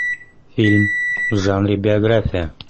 фильм в жанре биография